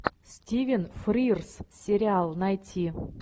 стивен фрирз сериал найти